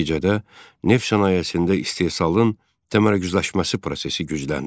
Nəticədə neft sənayesində istehsalın təmərküzləşməsi prosesi gücləndi.